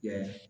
Yan